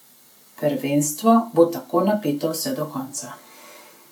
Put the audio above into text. Prvenstvo bo tako napeto vse do konca.